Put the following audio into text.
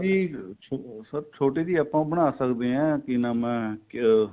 ਜੀ sir ਛੋਟੀ ਜੀ ਆਪਾਂ ਬਣਾ ਸਕਦੇ ਆ ਕਿ ਨਾਮ ਏ ਕਿਆ